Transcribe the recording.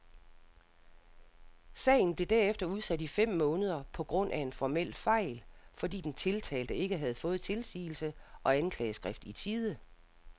Sagen blev derefter udsat i fem måneder på grund af en formel fejl, fordi den tiltalte ikke havde fået tilsigelse og anklageskrift i tide.